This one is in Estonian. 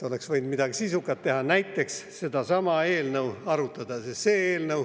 Oleks võinud midagi sisukat teha, näiteks sedasama eelnõu arutada.